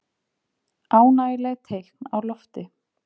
Ánægjuleg teikn á lofti